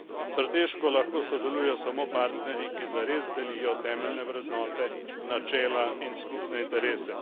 Strateško lahko sodelujejo samo partnerji, ki zares delijo temeljne vrednote, načela in skupne interese.